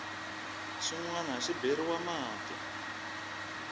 xin wana xi beriwa mati